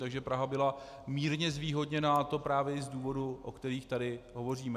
Takže Praha byla mírně zvýhodněna, a to právě i z důvodů, o kterých tady hovoříme.